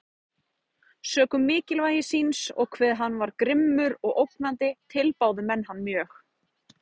Sökum mikilvægi síns, og hve hann var grimmur og ógnandi, tilbáðu menn hann mjög.